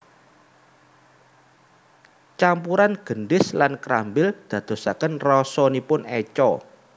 Campuran gendis lan krambil ndadosaken rasanipun eca